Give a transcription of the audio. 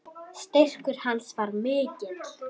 Styrkur hans var mikill.